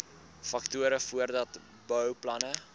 faktore voordat bouplanne